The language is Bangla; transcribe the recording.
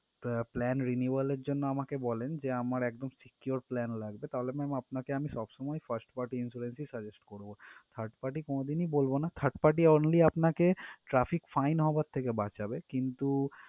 একটা plan renewal এর জন্য বলেন যে আমার একদম secure plan লাগবে তাহলে ma'am আপনাকে আমি সবসময় first party insurance ই suggest করব third party কোনদিনই বলবো না third party only আপনাকে traffic fines হওয়ার থেকে বাঁচাবে। কিন্তু